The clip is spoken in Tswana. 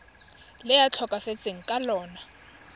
le a tlhokafetseng ka lona